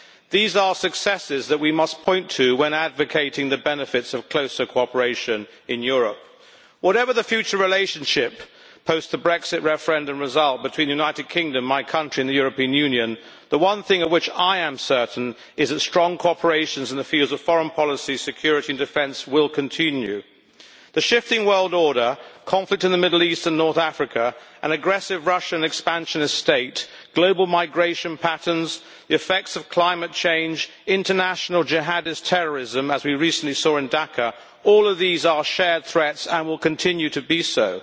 These are successes that we must point to when advocating the benefits of closer cooperation in Europe. Whatever the future relationship post the Brexit referendum result between the United Kingdom, my country, and the European Union, the one thing of which I am certain is that strong cooperation in the fields of foreign policy, security and defence will continue. The shifting world order, conflict in the Middle East and North Africa, an aggressive Russian expansionist state, global migration patterns, the effects of climate change, international jihadist terrorism as we recently saw in Dhaka all of these are shared threats and will continue to be so.